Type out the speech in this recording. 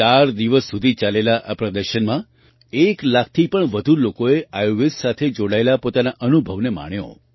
ચાર દિવસ સુધી ચાલેલા આ પ્રદર્શનમાં એક લાખથી પણ વધુ લોકોએ આયુર્વેદ સાથે જોડાયેલા પોતાના અનુભવને માણ્યો